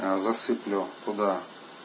засыплю туда